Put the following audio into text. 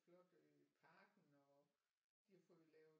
Flot øh parken og de har fået lavet